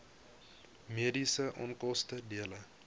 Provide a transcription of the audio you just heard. mediese onkoste dele